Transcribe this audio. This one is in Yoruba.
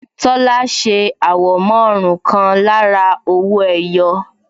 Tola ṣe àwọ̀mọ́ ọrùn kan lára owó ẹyọ